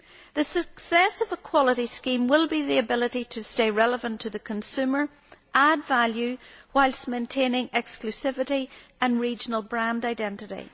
The success of a quality scheme will depend on its capacity to stay relevant to the consumer and to add value whilst maintaining exclusivity and regional brand identity.